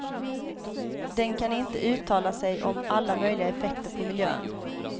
Den kan inte uttala sig om alla möjliga effekter på miljön.